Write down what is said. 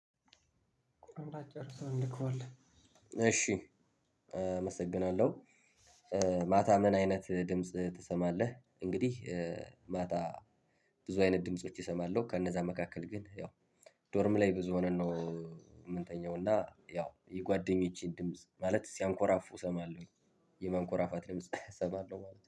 እንዳትጨርሰው እንልከዋለን እሺ አመሰግናለሁ። ማታ ምን አይነት ድምጽ ትሰማለህ? እንግዲህ ማታ ብዙ አይነት ድምጾች እሰማለሁ። ከነዛ መካከል ግን ያው ዶርም ላይ ብዙ ሆነን ነው የምንተኛው እና ያው የጓደኞቼን ድምጽ ማለት ሲያንኮራፉ እሰማለሁኝ። የማንኮራፋት ድምጽ እሰማለሁ ማለት ነው